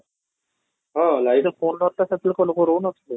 ହଁ, ନାହିଁ ତ phone ନ ଥିଲା ସେତେବେଳେ କ'ଣ ଲୋକ ରହୁ ନ ଥିଲେ